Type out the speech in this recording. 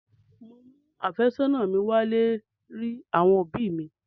Mò ń mú àfẹ́sọ́nà mi wálé rí àwọn òbí mi.